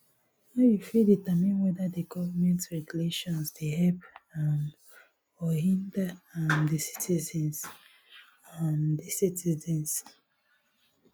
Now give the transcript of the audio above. how you fit determine whether di government regulation dey help um or hinder um di citizens um di citizens